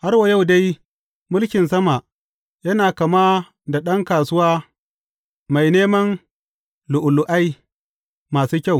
Har wa yau dai, mulkin sama yana kama da ɗan kasuwa mai neman lu’ulu’ai masu kyau.